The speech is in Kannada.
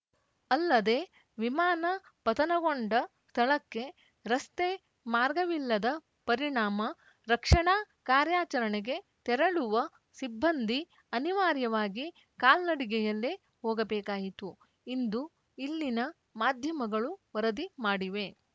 ಅಲ್ಲದೆ ವಿಮಾನ ಪತನಗೊಂಡ ಸ್ಥಳಕ್ಕೆ ರಸ್ತೆ ಮಾರ್ಗವಿಲ್ಲದ ಪರಿಣಾಮ ರಕ್ಷಣಾ ಕಾರ್ಯಾಚರಣೆಗೆ ತೆರಳುವ ಸಿಬ್ಬಂದಿ ಅನಿವಾರ್ಯವಾಗಿ ಕಾಲ್ನಡಿಗೆಯಲ್ಲೇ ಹೋಗಬೇಕಾಯಿತು ಇಂದು ಇಲ್ಲಿನ ಮಾಧ್ಯಮಗಳು ವರದಿ ಮಾಡಿವೆ